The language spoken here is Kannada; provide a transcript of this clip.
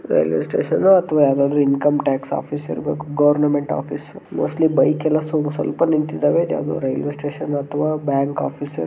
ರೈಲ್ವೆ ಸ್ಟೇಷನ್ನು ಅಥವಾ ಯಾವದೋ ಇನ್ಕಮ್ ಟ್ಯಾಕ್ಸ್ ಆಫೀಸ್ ಇರ್ಬೇಕು ಗವರ್ನಮೆಂಟ್ ಆಫೀಸ್ ಮೋಸ್ಟ್ಲಿ ಬೈಕ್ ಎಲ್ಲ ಸ್ವಲ್ಪ ನಿಂತಿತಾವೆ ಇದು ಯಾವದೋ ರೈಲ್ವೆ ಸ್ಟೇಷನ್ ಅಥವಾ ಬ್ಯಾಂಕ್ ಆಫೀಸ್ --